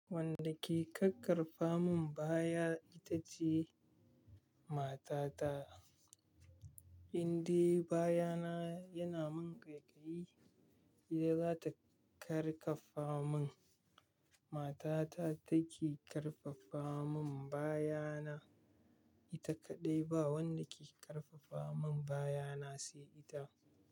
Wanda ke ƙakkarɓa mun baya ita ce matata. Inde bayana yana min ƙaiƙayi, ita za ta karkaba mun. Matata take ƙarfafa mun bayana. Ita kaɗai ba wanda ke ƙarfafa mun bayana sai ita.